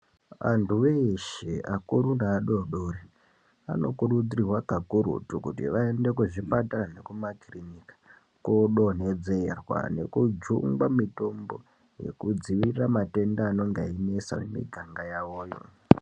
Anthu eshe akuru neadodori anokurudzirwa kakurutu kuti vaende kuzvipatara nekumakirinika kodonhedzerwa nekujungwa mitombo uekudziirira matenda anonga einesa miganga yawoyo.